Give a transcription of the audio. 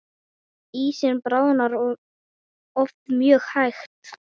Ísinn bráðnar oft mjög hægt.